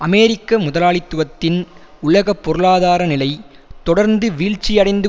அமெரிக்க முதலாளித்துவத்தின் உலக பொருளாதார நிலை தொடர்ந்து வீழ்ச்சியடைந்து